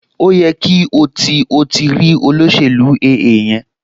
Ó yẹ kí o ti o ti rí olóṣèlú AA yẹn